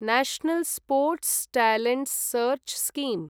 national sports talent search scheme